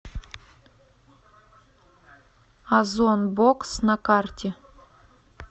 озон бокс на карте